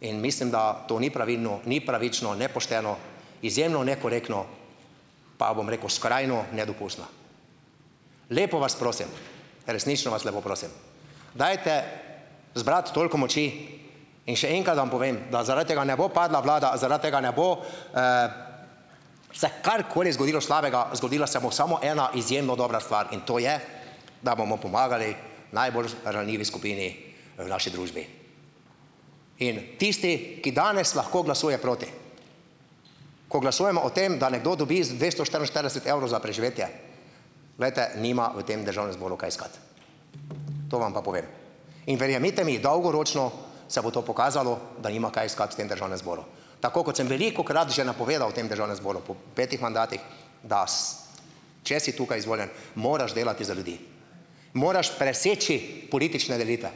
In mislim, da to ni pravilno, ni pravično, ne pošteno, izjemno nekorektno, pa bom rekel, skrajno nedopustno. Lepo vas prosim, resnično vas lepo prosim, dajte zbrati toliko moči, in še enkrat vam povem, da zaradi tega ne bo padla vlada, zaradi tega ne bo se karkoli zgodilo slabega, zgodila se bo samo ena izjemno dobra stvar in to je, da bomo pomagali najbolj ranljivi skupini v naši družbi. In tisti, ki danes lahko glasuje proti, ko glasujemo o tem, da nekdo dobi za dvesto štiriinštirideset evrov za preživetje. Glejte, nima v tem Državnem zboru kaj iskati. To vam pa povem. In verjemite mi, dolgoročno se bo to pokazalo, da nima kaj iskati v tem Državnem zboru. Tako kot sem velikokrat že napovedal v tem Državnem zboru po petih mandatih, da če si tukaj izvoljen, moraš delati za ljudi, moraš preseči politične delitve.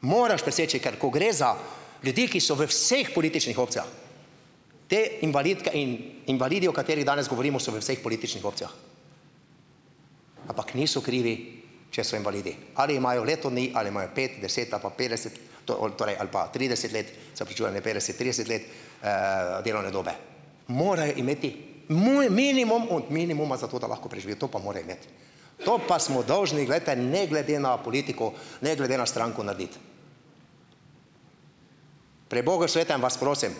Moraš preseči, ker ko gre za ljudi, ki so v vseh političnih opcijah, te invalidke in invalidi, o katerih danes govorimo so v vseh političnih opcijah, ampak niso krivi, če so invalidi. Ali imajo leto dni ali imajo pet, deset ali pa petdeset, torej ali pa trideset let, se opravičujem, ne petdeset, trideset let delovne dobe, morajo imeti minimum od minimuma za to, da lahko preživi. To pa mora imeti. To pa smo dolžni, glejte, ne glede na politiko ne glede na stranko narediti. Pri bogu svetem vas prosim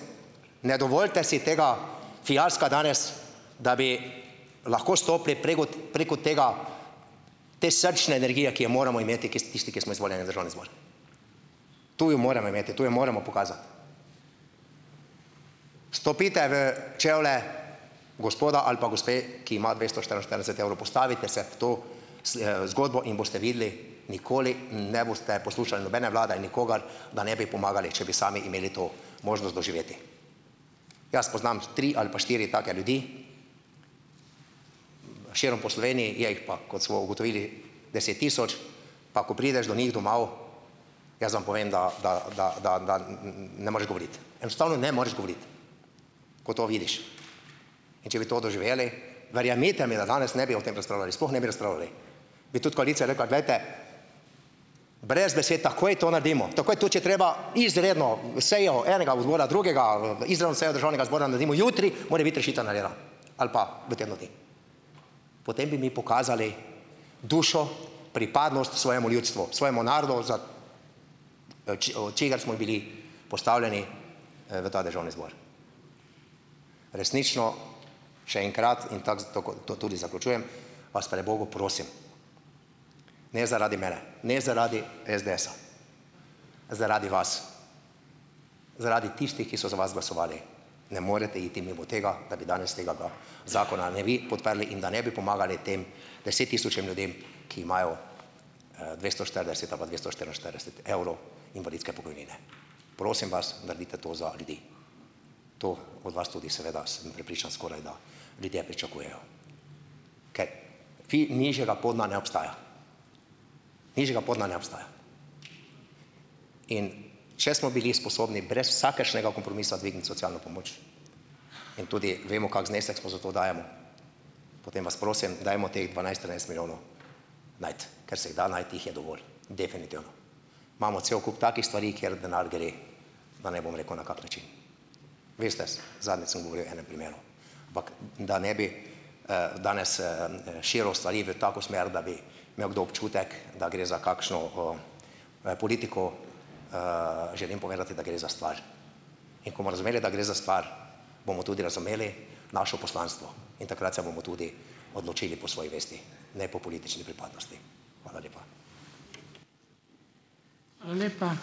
ne dovolite si tega fiaska danes, da bi lahko stopili preko tega, te srčne energije, ki jo moramo imeti, tisti, ki smo izvoljeni v Državni zbor. Tu jo moramo imeti, tu jo moramo pokazati. Vstopite v čevlje gospoda ali pa gospe, ki ima dvesto štiriinštirideset evrov, postavite se v to zgodbo in boste videli, nikoli ne boste poslušali nobene vlade, nikogar, da ne bi pomagali, če bi sami imeli to možnost doživeti. Jaz poznam tri ali pa štiri take ljudi širom po Sloveniji, je jih pa, kot smo ugotovili, deset tisoč, pa ko prideš do njih domov, jaz vam povem, da da da da da ne moreš govoriti, enostavno ne moreš govoriti, ko to vidiš, in če bi to doživeli, verjemite mi, da danes ne bi o tem razpravljali, sploh ne bi razpravljali, bi tudi koalicija rekla: "Glejte, brez besed takoj to naredimo, takoj, tudi če treba izredno sejo enega odbora, drugega, izven seje Državnega zbora, naredimo jutri, mora biti rešitev narejena ali pa v tednu dni." Potem bi mi pokazali dušo, pripadnost svojemu ljudstvu, svojemu narodu, za od od čigar smo bili postavljeni v ta Državni zbor. Resnično še enkrat, in tako zato, ko to tudi zaključujem, vas pri bogu prosim ne zaradi mene, ne zaradi SDS-a, zaradi vas, zaradi tistih, ki so za vas glasovali, ne morete iti mimo tega, da danes tega ga zakona ne bi podprli in da ne bi pomagali tem deset tisočim ljudem, ki imajo dvesto štirideset ali pa dvesto štiriinštirideset evrov invalidske pokojnine. Prosim vas naredite to za ljudi, to od vas tudi seveda, sem prepričan, skorajda ljudje pričakujejo, ker nižjega podna ne obstaja. Nižjega podna ne obstaja. In če smo bili sposobni brez vsakršnega kompromisa dvigniti socialno pomoč, in tudi vemo, kako znesek smo za to dajemo, potem vas prosim dajmo teh dvanajst, trinajst milijonov najti, ker se jih da najti, jih je dovolj definitivno. Imamo cel kup takih stvari, kjer denar gre pa ne bom rekel, na kak način. Veste zadnjič sem govoril o enem primeru, ampak da ne bi danes širil stvari v tako smer, da bi imel kdo občutek, da gre za kakšno politiko, želim povedati, da gre za stvar, in ko bomo razumeli, da gre za stvar, bomo tudi razumeli našo poslanstvo in takrat se bomo tudi odločili po svoji vesti ne po politični pripadnosti. Hvala lepa.